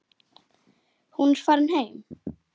Hún er farin heim.